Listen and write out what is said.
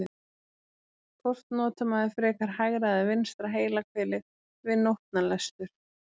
Hvort notar maður frekar hægra eða vinstra heilahvelið við nótnalestur?